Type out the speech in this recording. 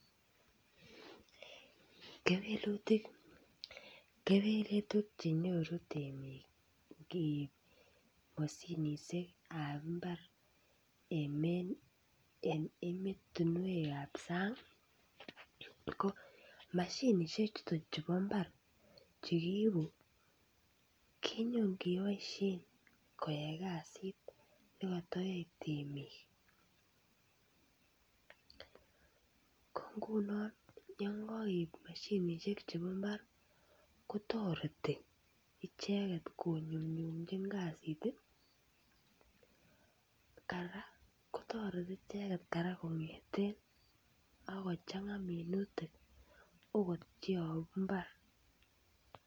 Kewelutik, kewelutik chenyoru temik ngeib moshinishek ab imbar en emotunwekab sangi ko moshinishek chuton chubo imbar chekisibi Kenyon keboishen koyai kasit nekotoyoe temik, ko nguni yon kokeib moshinishek chebo imbar kotoreti icheket konyumnyumchin kasit tii . Koraa kotoreti icheket koraa kongeten ak kochanga minutik okot cheyobu imbar.